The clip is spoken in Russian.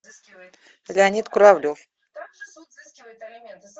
леонид куравлев